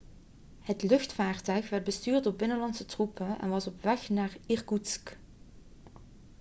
het luchtvaarttuig werd bestuurd door binnenlandse troepen en was op weg naar irkoetsk